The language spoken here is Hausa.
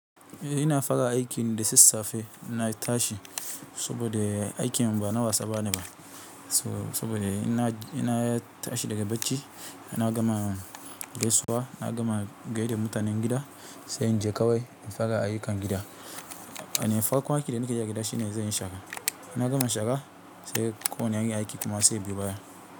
Ina fara aikin da sassafe inna tashi saboda aikin ba na wasa bane ba. Saboda ina, ina tashi daga bacci ina gama gaisuwa, na gama gaida mutanen gida sai in je kawai in fara ayyukan gida. Eh farkon aikin da nakeyi a gida shine zanyi shara ina gama shara sai ko wani irin aiki kuma zai biyo baya.